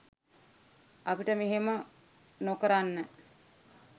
අපිට මෙහෙම නොකරන්න